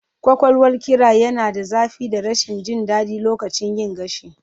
Ƙwaƙwalwar ƙira yana da zafi da rashin jin daɗi lokacin yin gashi